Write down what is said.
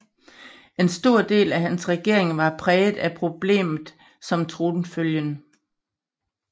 En stor del af hans regering var præget af problemet om tronfølgen